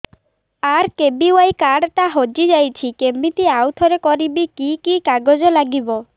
RKBY card ଟା ହଜିଯାଇଛି କିମିତି ଆଉଥରେ କରିବି କି କି କାଗଜ ଲାଗିବ